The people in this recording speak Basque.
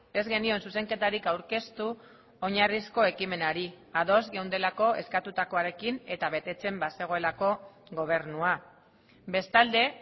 ez genion zuzenketarik aurkeztu oinarrizko ekimenari ados geundelako eskatutakoarekin eta betetzen bazegoelako gobernua bestalde